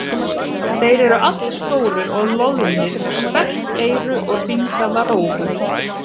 Þeir eru allstórir og loðnir með sperrt eyru og hringaða rófu.